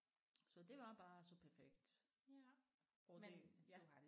Så det var bare så perfekt og det ja